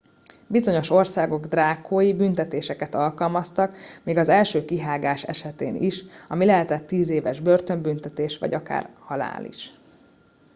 bizonyos országok drákói büntetéseket alkalmaztak még az első kihágás esetén is ami lehetett 10 éves börtönbüntetés vagy akár halál is